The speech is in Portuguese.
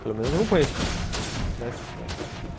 Pelo menos eu não conheço, né.